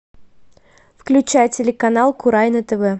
включай телеканал курай на тв